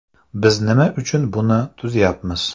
Biz nima uchun buni tuzyapmiz?